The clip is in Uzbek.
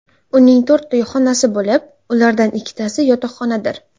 Uning to‘rtta xonasi bo‘lib, ulardan ikkitasi yotoqxonadir.